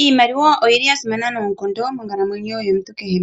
Iimaliwa oyili yasimana noonkondo monkalamwenyo yomuntu kehe.